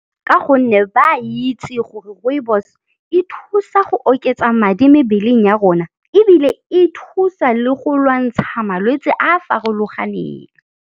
Ka gonne ba a itse gore Rooibos, e thusa go oketsa madi mebeleng ya rona ebile e thusa le go lwantsha malwetse a farologaneng.